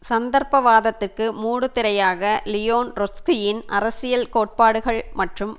சந்தர்ப்பவாதத்துக்கு மூடு திரையாக லியோன் ட்ரொட்ஸ்கியின் அரசியற் கோட்பாடுகள் மற்றும்